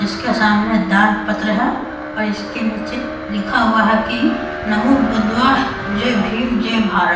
इसके सामने दान पत्र है और इसके नीचे लिखा हुआ है की नमो बुद्धा जय भीम जय भारत।